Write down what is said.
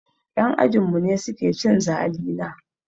Yan ajinmu ne suke cin zalina.